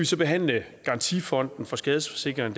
så behandle at garantifonden for skadesforsikringer